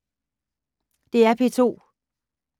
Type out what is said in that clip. DR P2